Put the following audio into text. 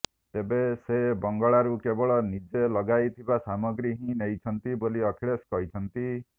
ତେବେ ସେ ବଙ୍ଗଳାରୁ କେବଳ ନିଜେ ଲଗାଇଥିବା ସାମଗ୍ରୀ ହିଁ ନେଇଛନ୍ତି ବୋଲି ଅଖିଳେଶ କହିଛନ୍ତି